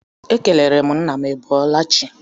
Ekelere m nna m I bọọla chi.